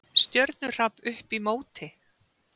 Stjörnuhrap upp í móti!